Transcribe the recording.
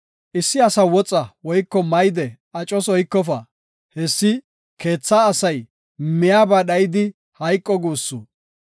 Issi asa woxa woyko mayde acos oykofa; hessi keetha asay miyaba dhayidi hayqo guussu.